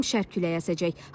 Mülayim şərq küləyi əsəcək.